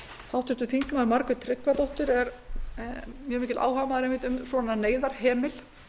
háttvirtir þingmenn margrét tryggvadóttir er einmitt mjög mikill áhugamaður um svona neyðarhemil